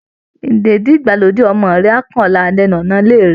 Ìdèdí-ìgbàlódé ọmọ rẹ á kàn ọ́ lára lẹ́nu ọ̀nà ilé rẹ